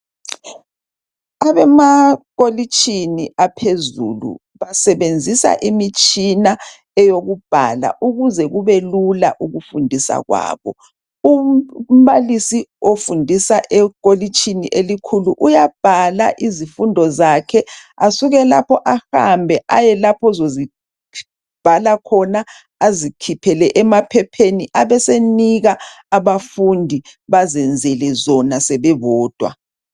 kwabemakolitshini aphezulu basebenzisa imitshina eyokubhala ukuze kube lula ukufundisa kwabo umbalisi ofundisa ekolitshini elikhulu uyabhala izifundo zakhe asuke lapho ahambe ayelapho ozozibhala khona azikhiphele emaphepheni abesenika abafundi bazenzele zona sebebodwa